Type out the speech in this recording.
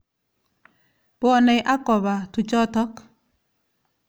Bwonei ak koba tujotok.